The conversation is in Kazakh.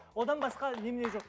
одан басқа немене жоқ